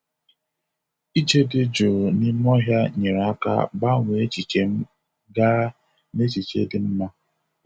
Ije dị jụụ n'ime ọhịa nyere aka gbanwee echiche m gaa n'echiche dị mma.